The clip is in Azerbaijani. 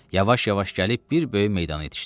Yavaş-yavaş gəlib bir böyük meydana yetişdik.